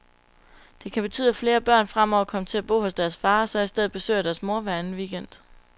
Det kan betyde, at flere børn fremover kommer til at bo hos deres far, og så i stedet besøger deres mor hver anden weekend.